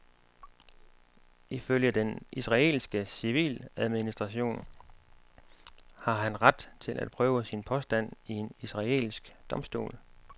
Ifølge den israelske civiladministration har han ret til at prøve sin påstand i en israelsk domstol.